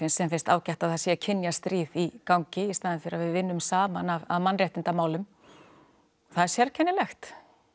sem finnst ágætt að það sé í gangi í staðinn fyrir að við vinnum saman að mannréttindamálum það er sérkennilegt